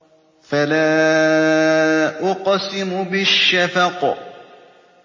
فَلَا أُقْسِمُ بِالشَّفَقِ